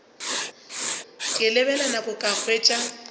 ke lebelela nako ka hwetša